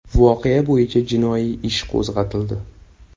Voqea bo‘yicha jinoiy ish qo‘zg‘atildi.